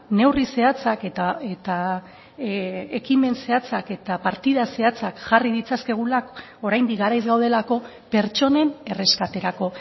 neurri zehatzak eta ekimen zehatzak eta partida zehatzak jarri ditzakegula oraindik garaiz gaudelako pertsonen erreskaterako